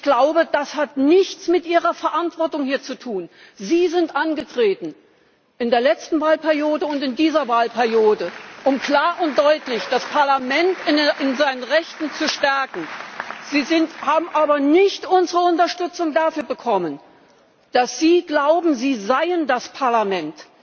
Ich glaube, das hat nichts mit Ihrer Verantwortung hier zu tun. Sie sind angetreten in der letzten Wahlperiode und in dieser Wahlperiode, um klar und deutlich das Parlament in seinen Rechten zu stärken. Sie haben aber nicht unsere Unterstützung dafür bekommen, dass Sie glauben, Sie seien das Parlament.